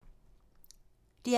DR P2